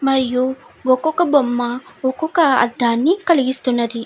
మరియు ఒక్కొక్క బొమ్మ ఒక్కొక్క అర్ధాన్ని కలిగిస్తున్నది.